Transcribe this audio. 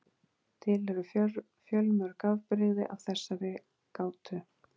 Til eru fjölmörg afbrigði af þessari gátu.